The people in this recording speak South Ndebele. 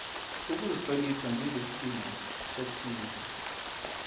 ukuzitlolisa njengesikimu sokusiza